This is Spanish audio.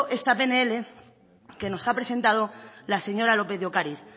esta pnl que nos ha presentado la señora lópez de ocariz